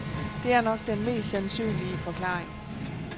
Det er nok den mest sandsynlige forklaring.